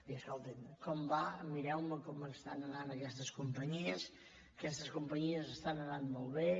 i escolti’m com va mireu com estan anant aquestes companyies aquestes companyies estan anant molt bé